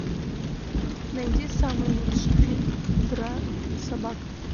найди самый лучший фильм про собак